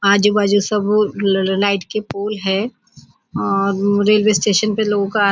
आजू बाजु सब ललल् लाइट के पोल हैं और वो रेल्वे स्टेशन पे लोंग का--